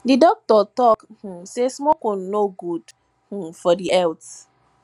di doctor tok um sey smoking no good um for di health